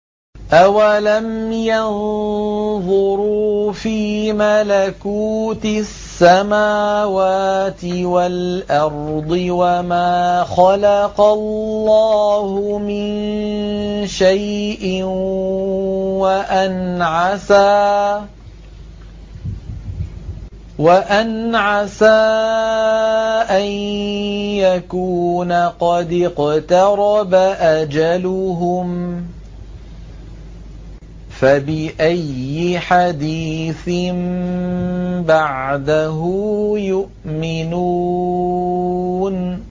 أَوَلَمْ يَنظُرُوا فِي مَلَكُوتِ السَّمَاوَاتِ وَالْأَرْضِ وَمَا خَلَقَ اللَّهُ مِن شَيْءٍ وَأَنْ عَسَىٰ أَن يَكُونَ قَدِ اقْتَرَبَ أَجَلُهُمْ ۖ فَبِأَيِّ حَدِيثٍ بَعْدَهُ يُؤْمِنُونَ